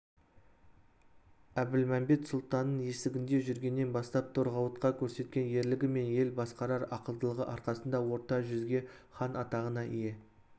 әбілмәмбет сұлтанның есігінде жүргеннен бастап торғауытқа көрсеткен ерлігі мен ел басқарар ақылдылығы арқасында орта жүзге хан атағына ие